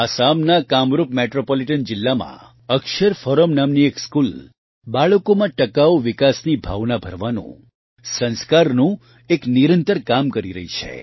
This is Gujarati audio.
આસામના કામરૂપ મેટ્રોપોલીટન જીલ્લામાં અક્ષર ફોરમ નામની એક સ્કૂલ બાળકોમાં ટકાઉ વિકાસની ભાવના ભરવાનું સંસ્કારનું એક નિરંતર કામ કરી રહી છે